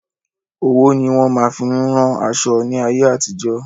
Ọwọ́ ni wọn máa fin ún ran aṣọ ní ayé àtijó.